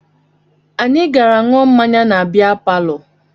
Anyị gara ṅụọ mmanya na bịa palọ